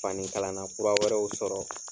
Fani kalanna kura wɛrɛw sɔrɔ